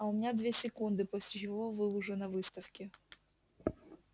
а у меня две секунды после чего вы уже на выставке